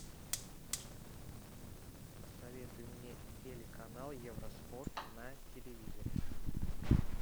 посоветуй мне телеканал евроспорт на телевизоре